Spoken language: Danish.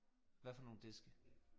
Hvad for nogle diske?